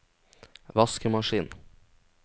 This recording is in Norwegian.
vaskemaskin